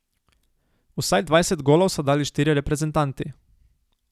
Vsaj dvajset golov so dali štirje reprezentanti.